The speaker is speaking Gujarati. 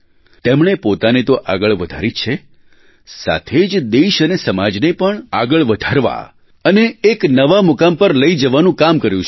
તેમણે પોતાને તો આગળ વધારી જ છે સાથે જ દેશ અને સમાજને પણ આગળ વધારવા અને એક નવા મુકામ પર લઈ જવાનું કામ કર્યું છે